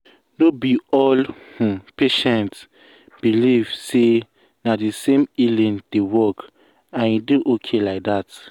no be all um patients um believe um say na the same way healing dey work and e dey okay like that.